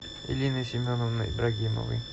элины семеновны ибрагимовой